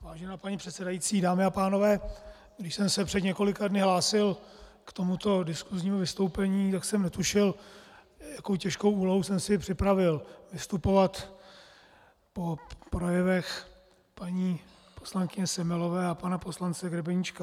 Vážená paní předsedající, dámy a pánové, když jsem se před několika dny hlásil k tomuto diskusnímu vystoupení, tak jsem netušil, jakou těžkou úlohu jsem si připravil - vystupovat po projevech paní poslankyně Semelové a pana poslance Grebeníčka.